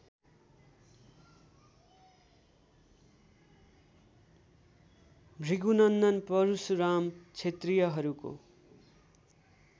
Bhrigunandan Parashuram क्षेत्रियहरूको